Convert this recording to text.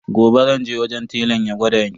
Gobe zan je wajen telan ya gwada ni.